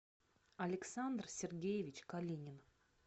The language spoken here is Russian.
александр сергеевич калинин